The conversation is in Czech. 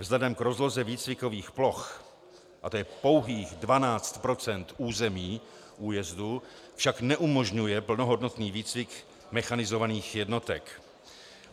Vzhledem k rozloze výcvikových ploch, a tj. pouhých 12 % území újezdu, však neumožňuje plnohodnotný výcvik mechanizovaných jednotek.